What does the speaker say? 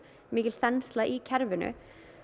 mikil þensla í kerfinu